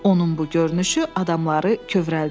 Onun bu görünüşü adamları kövrəldirdi.